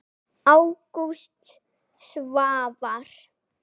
Ágúst Svavar.